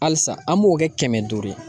Halisa , an b'o kɛ kɛmɛ duuru ye.